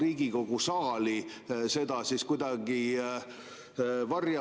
Reformierakond ütles oma valimisplatvormis, et meil on vaja liikuda riigieelarve tasakaalu poole, riigieelarve on vaja korda teha.